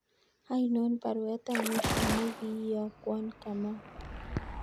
Ainon baruet ab mwisho negi iyakwon Kamau